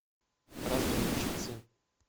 разведчицы